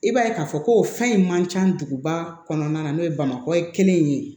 I b'a ye k'a fɔ ko fɛn in man ca duguba kɔnɔna na n'o ye bamakɔ ye kelen ye